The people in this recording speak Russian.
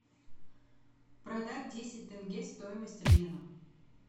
продать десять тенге стоимость обмена